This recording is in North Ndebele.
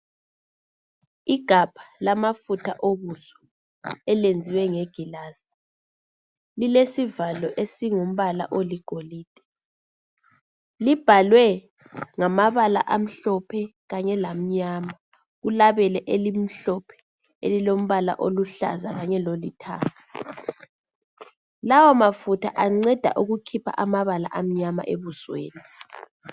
Igabha lamafutha okudla elenzwe nge gilasi lilesivalo esingumbala oligolide, libhalwe ngamabala amhlophe kanye lamnyama kulabele elimhlophe elilombala oluhlaza kanye lolithanga, lawa mafutha anceda ukukhipha amabala amnyama ebusweni.